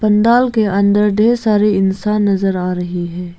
पंडाल के अंदर ढेर सारे इंसान नजर आ रहे हैं।